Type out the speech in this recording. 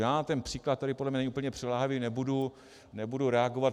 Já na ten příklad, který podle mě není úplně přiléhavý, nebudu reagovat.